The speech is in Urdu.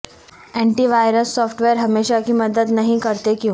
اینٹی وائرس سافٹ ویئر ہمیشہ کی مدد نہیں کرتے کیوں